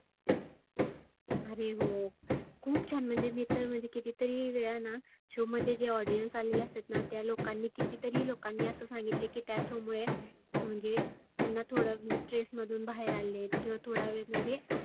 आरे हो खुप छान मी तर म्हणजे किती तरी वेळाना show मध्ये जे audience आलेले असतातना त्या लोकांनी किती तरी लोकांनी असं सांगितल की show मुळे म्हणजे त्यांना थोड stress मधुन बाहेर आलेले किंवा थोडा वेळ म्हणजे